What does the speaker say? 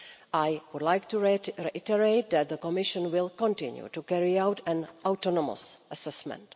I would like to reiterate that the Commission will continue to carry out an autonomous assessment.